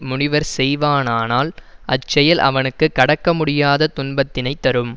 முனிவன் செய்வானானால் அச்செயல் அவனுக்கு கடக்க முடியாத துன்பத்தினை தரும்